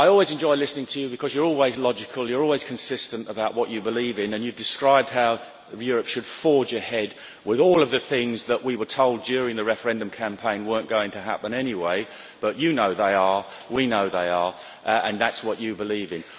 I always enjoy listening to you because you are always logical, you are always consistent about what you believe in and you described how Europe should forge ahead with all of the things that we were told during the referendum campaign were not going to happen anyway. You know they are, we know they are and that is what you believe in.